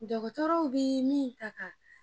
Dɔgɔtɔrɔw bɛ min ta ka